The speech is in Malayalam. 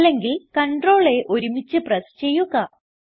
അല്ലെങ്കിൽ CTRL A ഒരുമിച്ച് പ്രസ് ചെയ്യുക